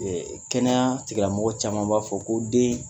Ɛ Kɛnɛya tigilamɔgɔ caman b'a fɔ ko den